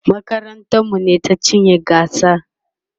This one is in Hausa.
makarantar mu ne ta cinye gasar